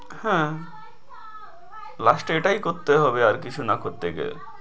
হ্যাঁ last এ এটায় করতে হবে আর কিছু না করতে গেলে।